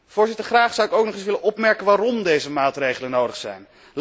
Voorzitter, graag zou ik ook nog eens willen onderstrepen waarom deze maatregelen nodig zijn.